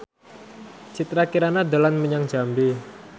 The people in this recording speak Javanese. Citra Kirana dolan menyang Jambi